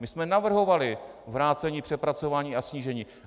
My jsme navrhovali vrácení, přepracování a snížení.